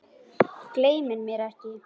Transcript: Gleymir mér ekki.